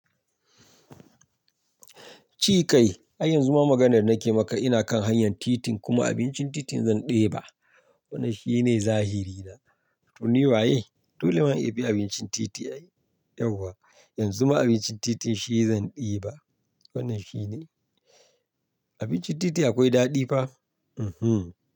Ci kai, ai yanzu ma maganar da nake maka ina kan hanyar titin kuma abincin titin zan ɗeba. Wannan shi ne zahiri na. To ni waye? Dole ma in bi abincin titi ai. Yauwa, yanzu ma abincin titin shi zan ɗiba. Wannan shi ne. Abincin titi akwai daɗi fa. Mhm.